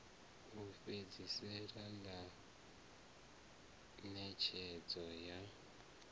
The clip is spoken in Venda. u fhedzisela ḽa ṋetshedzo ya